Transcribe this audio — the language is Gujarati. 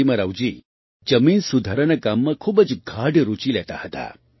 નરસિમ્હારાવજી જમીન સુધારાના કામમાં ખૂબ જ ગાઢ રૂચિ લેતા હતા